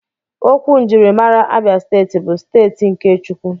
Okwu njirimara Abia Steeti bụ "steeti nke Chukwu"